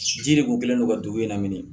Ji de kun kɛlen don ka dugu in na